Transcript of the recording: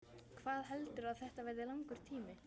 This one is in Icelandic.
Hvað heldurðu að þetta verði langur tími?